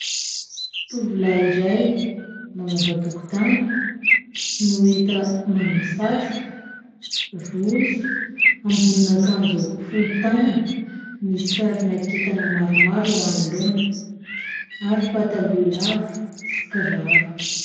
Tovolahy iray mamafa tokotany no hita manao satroka, rojo, ambonina akanjo fohy tanana. Misy sarina kintana maromaro eo anoloana ary pataloha lava sy kiraro.